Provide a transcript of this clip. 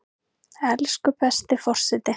Elsku besti forseti!